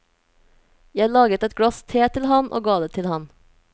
Jeg laget et glass te til ham og ga det til ham.